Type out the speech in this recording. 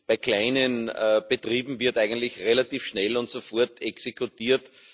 Bei kleinen Betrieben wird eigentlich relativ schnell und sofort exekutiert.